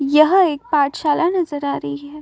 यह एक पाढ़शाला नजर आ रही है।